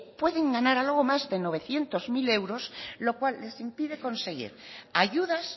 pueden ganar algo más de novecientos unocero euros lo cual les impide conseguir ayudas